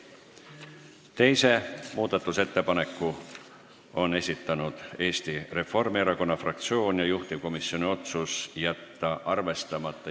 Teise muudatusettepaneku on esitanud Eesti Reformierakonna fraktsioon ja juhtivkomisjoni otsus on jätta arvestamata.